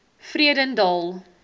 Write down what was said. vredendal